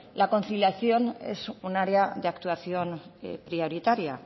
la conciliación es un área de actuación prioritaria